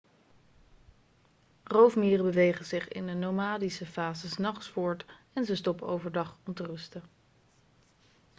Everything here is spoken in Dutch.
roofmieren bewegen zich in de nomadische fase s nachts voort en ze stoppen overdag om te rusten